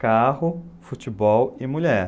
Carro, futebol e mulher.